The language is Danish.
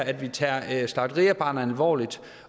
at vi tager slagteriarbejderne alvorligt